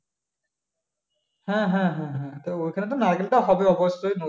হ্যা হ্যা হ্যা তা ওখানে তো নারকেলটা হবে অবশ্যই